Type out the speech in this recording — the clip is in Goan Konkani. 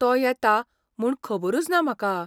तो येता म्हूण खबरूच ना म्हाका.